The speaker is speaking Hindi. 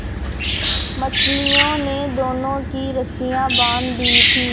मछलियों ने दोनों की रस्सियाँ बाँध दी थीं